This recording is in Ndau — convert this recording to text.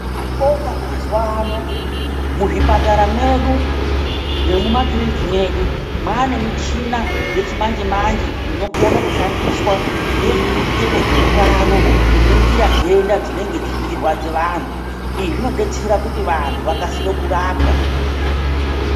Tinobonga mazuva ano muzvipatara mwedu nekumakiriniki medu mane michina yechimanje manje inokona kushandiswa ngezvehutano kuningira ndenda dzinenge dzechirwadza vantu izvi zvinodetsera kuti vantu vakasire kurapwa.